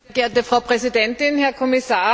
Frau Präsidentin, Herr Kommissar!